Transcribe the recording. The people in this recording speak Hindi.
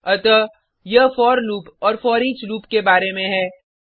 अतः यह फोर लूप और फोरिच लूप के बारे में है